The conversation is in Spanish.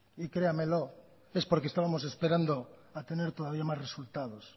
y créamelo es porque estábamos esperando a tener todavía más resultados